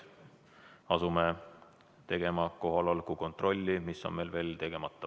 Asume nüüd tegema kohaloleku kontrolli, mis on meil veel tegemata.